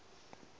ge e le ee efa